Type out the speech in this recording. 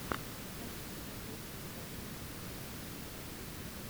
хочу посмотреть кинокартину в стилистике драма